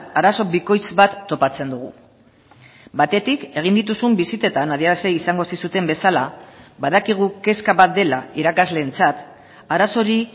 arazo bikoitz bat topatzen dugu batetik egin dituzun bisitetan adierazi izango zizuten bezala badakigu kezka bat dela irakasleentzat arazori